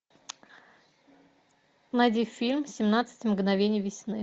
найди фильм семнадцать мгновений весны